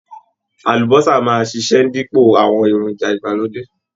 Àlúbósà máa ṣiṣẹ́ dípò awon èròjà ìgbàlódé